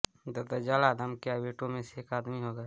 दज्जाल आदम के बेटों में से एक आदमी होगा